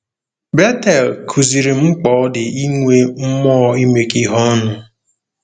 Betel kụziirim mkpa ọ dị inwe mmụọ imekọ ihe ọnụ.